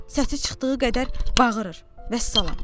Səsi çıxdığı qədər bağırır, vəssalam.